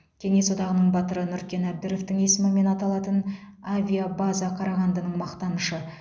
кеңес одағының батыры нұркен әбдіровтың есімімен аталатын авиабаза қарағандының мақтанышы